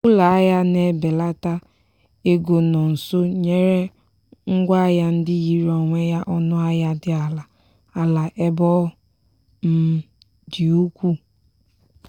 ụlọahịa na-ebelata ego nọ nso nyere ngwa ahịa ndị yiri onwe ya ọnụahịa dị ala ala ebe ọ um dị ukwuu.